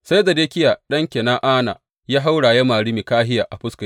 Sai Zedekiya ɗan Kena’ana ya haura ya mari Mikahiya a fuska.